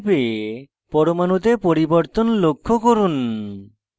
পরমাণুতে পরিবর্তন লক্ষ্য করুন